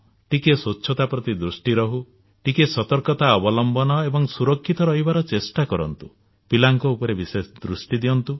ଟିକିଏ ସ୍ୱଚ୍ଛତା ପ୍ରତି ଦୃଷ୍ଟି ରୁହୁ ଟିକିଏ ସତର୍କତା ଅବଲମ୍ବନ ଏବଂ ସୁରକ୍ଷିତ ରହିବାର ଚେଷ୍ଟା କରନ୍ତୁ ପିଲାଙ୍କ ଉପରେ ବିଶେଷ ଦୃଷ୍ଟି ଦିଅନ୍ତୁ